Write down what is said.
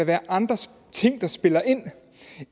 være andre ting der spiller